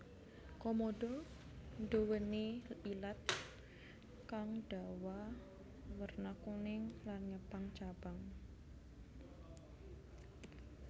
Komodo nduwèni ilat kang dawa werna kuning lan ngepang cabang